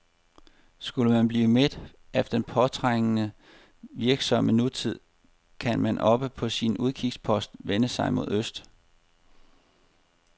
Skulle man blive mæt af den påtrængende, virksomme nutid, kan man oppe på sin udkigspost vende sig mod øst.